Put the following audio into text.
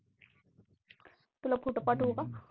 तुला photo पाठवू का?